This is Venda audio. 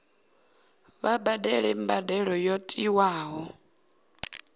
vha badele mbadelo yo tiwaho